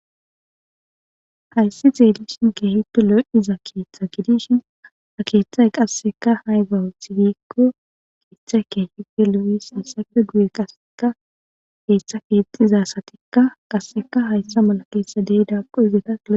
hayssi xeelishin keehipe lo77iza keeththa gidishin ha keeththay qasseka hayga wothigikko keeththa keehife lu7is issafe guye qasseka keeththa fiexizasatikka qasseka hayssa mala keetsa deydaaqo izeeta